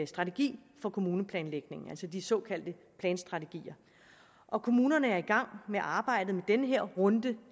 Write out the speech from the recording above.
strategi for kommuneplanlægningen altså de såkaldte planstrategier og kommunerne er i gang med arbejdet i den her runde